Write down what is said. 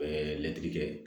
lɛtiri kɛ